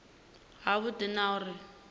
ha vhudi na uri hu